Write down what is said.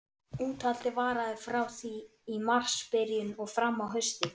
Úthaldið varaði frá því í marsbyrjun og fram á haustið.